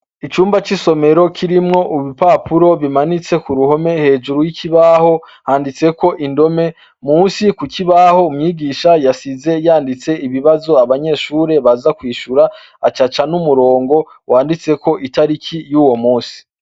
Icumba c'isomero kirimwo urupapuro rumanitse k'uruhome. Hejuru y'ikibaho, handitseko indome. Munsi ku kibaho umwigisha yasize yanditse ibibazo abanyeshure baza kwishura, ac'aca n'umurimgo wanditseko itariki y'uwo munsi.